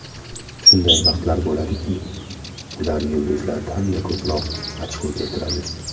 Shunday vaqtlar bo‘ladiki, ular yulduzlardan-da ko‘proq ochko keltiradi.